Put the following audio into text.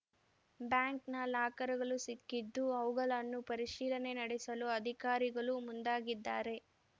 ಬ್ಯಾಂಕ್‌ನ ಲಾಕರ್‌ಗಳು ಸಿಕ್ಕಿದ್ದು ಅವುಗಳನ್ನು ಪರಿಶೀಲನೆ ನಡೆಸಲು ಅಧಿಕಾರಿಗಳು ಮುಂದಾಗಿದ್ದಾರೆ